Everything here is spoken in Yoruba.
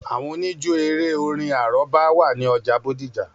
Àwọn òníjó eré-orin àrọ́bá wà ní ọjà bódìjà